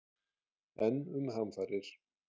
enn um hamfarir